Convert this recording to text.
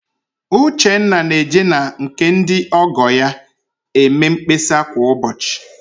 Uchenna na-eje na nke ndị ọ́gọ̀ ya eme mkpesa kwa ụbọchị